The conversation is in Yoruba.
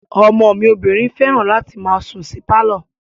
Ọmọ mi obìnrin fẹ́ràn láti máa sùn sí pálọ̀